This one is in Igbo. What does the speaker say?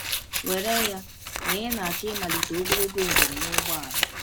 Were ya na ị na-achọ ịmalite ogologo njem n’ụgbọala.